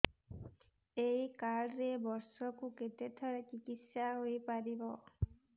ଏଇ କାର୍ଡ ରେ ବର୍ଷକୁ କେତେ ଥର ଚିକିତ୍ସା ହେଇପାରିବ